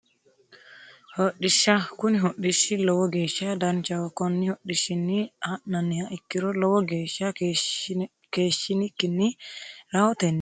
Hodhishsha kuni hodhishshi lowo geeshsha danchaho konni hodhishshinni ha'nanniha ikkiro lowo geeshsha keeshshinikkinni rahotenni hasi'noonni darga iillate chaallanniha lawannoe anera